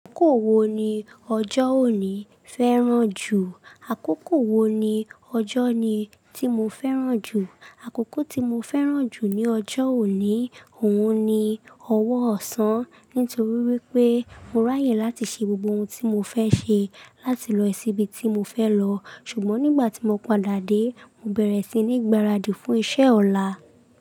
Àkókò wo ni ọjọ́ òní fẹ́ràn jù? Àkókò wo ni ọjọ́ ni tí mo fẹ́ràn jù? Àkókò tí mo fẹ́ràn jù ní ọjọ́ òní, òun ni ọwọ́ ọ̀sán. Nítorí wípé mo ráyè láti ṣe gbogbo ohun tí mo fẹ́ ṣe, láti lọ síbi tí mo fẹ́ lọ. Ṣùgbọ́n nígbà tí mo padà dé, mo bẹ̀rẹ̀ sí ní gbaradì fún iṣẹ́ ọ̀la.